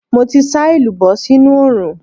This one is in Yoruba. Mo ti sá èlùbọ́ sínú oòrùn.